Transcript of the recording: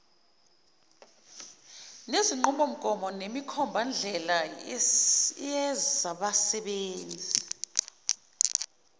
nezinqubomgomo nemikhombandlela yezabasebenzi